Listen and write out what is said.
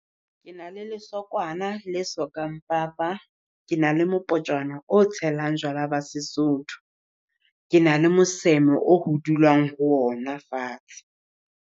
Ke na le lesokwana la sokang papa. Ke na le mopotjwana o tshelang jwala ba Sesotho. Ke na le moseme o ho dulwang ho ona fatshe.